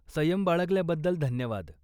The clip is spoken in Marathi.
संयम बाळगल्याबद्दल धन्यवाद.